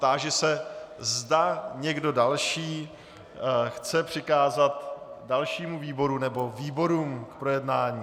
Táži se, zda někdo další chce přikázat dalšímu výboru nebo výborům k projednání.